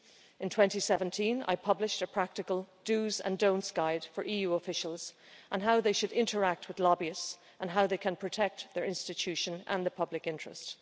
In 2017 I published a practical dos and don'ts guide for EU officials on how they should interact with lobbyists and how they can protect their institution and the public interest.